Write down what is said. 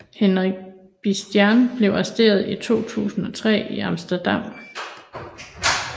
Henk Bieslijn blev arresteret i 2003 i Amsterdam